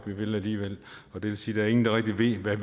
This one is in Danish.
vil alligevel og det vil sige er ingen der rigtig ved hvad